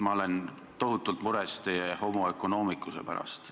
Ma olen tohutult mures teie homo economicus'e pärast.